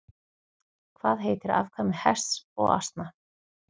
Hvað heitir afkvæmi hests og asna?